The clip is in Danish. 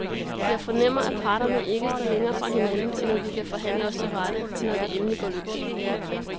Jeg fornemmer, at parterne ikke står længere fra hinanden, end at vi kan forhandle os til rette, når det endelig går løs.